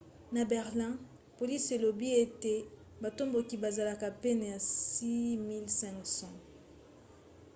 na berlin polisi elobi ete batomboki bazalaki pene ya 6 500